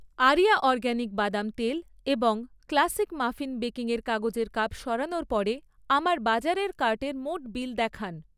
area organic বাদাম তেল এবং ক্লাসিক মাফিন বেকিং এর কাগজের কাপ সরানোর পরে আমার বাজারের কার্টের মোট বিল দেখান